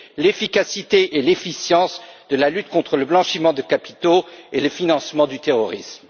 l'efficacité et l'efficience de la lutte contre le blanchiment de capitaux et le financement du terrorisme.